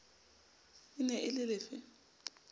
e ne e le lefe